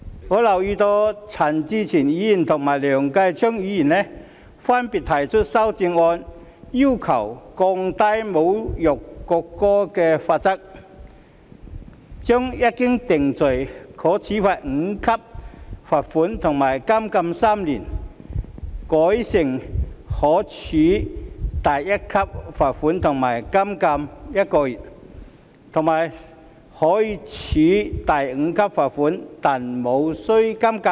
我留意到陳志全議員和梁繼昌議員分別提出修正案，要求降低侮辱國歌罪行的罰則，將一經定罪可處第5級罰款和監禁3年修改為分別可處第1級罰款和監禁1個月，以及可處第5級罰款但無須監禁。